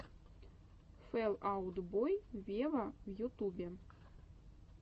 фэл аут бой вево в ютубе